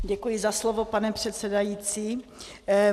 Děkuji za slovo, pane předsedající.